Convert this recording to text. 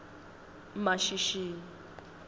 mashishini